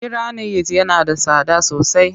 Giranayit yana da tsada sosai